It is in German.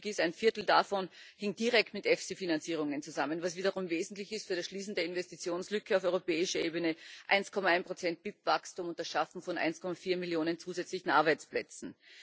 Was wichtig ist Ein Viertel davon hing direkt mit EFSI Finanzierungen zusammen, was wiederum wesentlich für das Schließen der Investitionslücke auf europäischer Ebene ist, 1,1 Prozent BIP Wachstum und das Schaffen von 1,4 Millionen zusätzlichen Arbeitsplätzen.